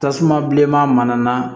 Tasuma bilenman na